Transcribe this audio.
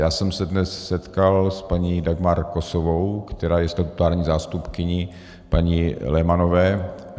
Já jsem se dnes setkal s paní Dagmar Kosovou, která je statutární zástupkyní paní Lehmannové.